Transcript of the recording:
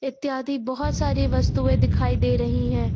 इत्यादि बहोत सारी वस्तुएं दिखाई दे रही हैं।